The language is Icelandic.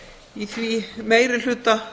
í því meirihlutaræði